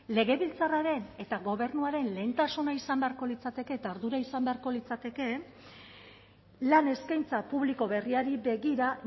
legebiltzarraren eta gobernuaren lehentasuna izan beharko litzateke eta ardura izan beharko litzateke lan eskaintza publiko berriari begira